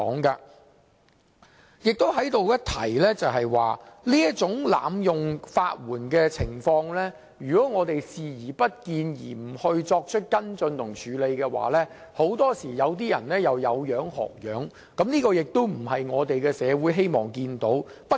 在這裏值得一提的是，如果我們對這種濫用法援的情況視而不見，不作跟進和處理，很多時便會有人仿效，而這不是社會希望看到的。